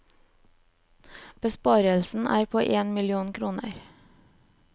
Besparelsen er på en million kroner.